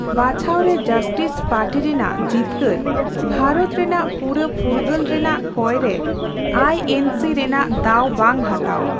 ᱵᱟᱪᱷᱟᱣ ᱨᱮ justice party ᱨᱮᱱᱟᱜ ᱡᱤᱛᱠᱟᱹᱨ ᱵᱷᱟᱨᱚᱛ ᱨᱮᱱᱟᱜ ᱯᱩᱨᱟᱹ ᱯᱷᱩᱨᱜᱟᱹᱞ ᱨᱮᱱᱟᱜ ᱠᱚᱭ ᱨᱮ ᱟᱭᱹᱮᱱᱹᱥᱤ ᱨᱮᱱᱟᱜ ᱫᱟᱣ ᱵᱟᱝ ᱦᱟᱛᱟᱣ ᱾